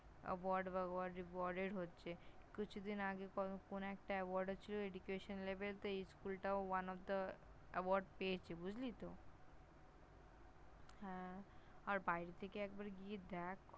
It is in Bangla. যে হচ্ছে, কিছুদিন আগে কোন একটা Award হচ্ছিল Level -তে এই School -টাও One of the Award পেয়েছে, বুঝলি তো? হ্যাঁ, আর বাড়িতে থেকে একবার গিয়ে দেখ